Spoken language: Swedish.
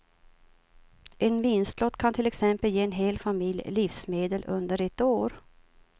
En vinstlott kan till exempel ge en hel familj livsmedel under ett år.